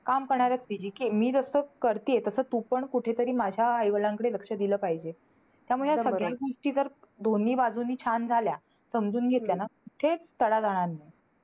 काम करणाऱ्या मी जसं करतेय, तसं तू पण कुठेतरी माझ्या आई-वडिलांकडे लक्ष दिलं पाहिजे. त्यामुळे ह्या सगळ्या गोष्टी जर दोन्ही बाजूने छान झाल्या समजून घेतल्या ना. थेट तडा जाणार नाही.